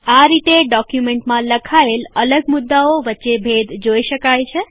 આ રીતે ડોક્યુમેન્ટમાં લખાયેલ અલગ મુદ્દાઓ વચ્ચે ભેદ જોય શકાય છે